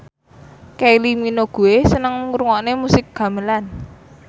Kylie Minogue seneng ngrungokne musik gamelan